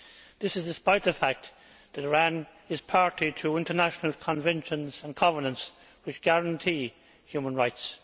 This is despite the fact that Iran is party to international conventions and covenants which guarantee human rights.